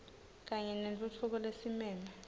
kanye nentfutfuko lesimeme